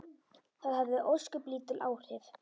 Það hafði ósköp lítil áhrif.